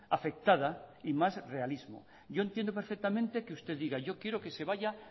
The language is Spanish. afectada y más realismo yo entiendo perfectamente que usted diga yo quiero que se vaya